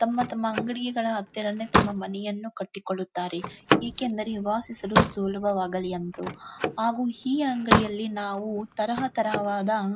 ತಮ್ಮತಮ್ಮ ಅಂಗಡಿಗಳ ಹತ್ತಿರನೇ ತಮ್ಮ ಮನೆಯನ್ನು ಕಟ್ಟಿಕೊಳ್ಳುತ್ತಾರೆ ಏಕೆಂದರೆ ವಾಸಿಸಲು ಸುಲಭವಾಗಲಿ ಎಂದು ಆಗು ಹೀ ಅಂಗಡಿಯಲ್ಲಿ ನಾವು ತರಹ ತರಹವಾದ --